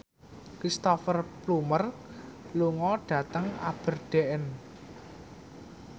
Cristhoper Plumer lunga dhateng Aberdeen